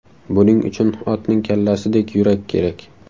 Buning uchun otning kallasidek yurak kerak.